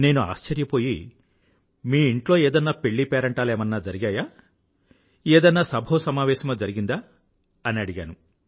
నేను ఆశ్చర్యపోయి మీ ఇంట్లో ఏదన్నా పెళ్ళీపేరంటాలేమన్నా జరిగాయా ఏదన్నా సభోసమవేశమో జరిగిందాఅని అడిగాను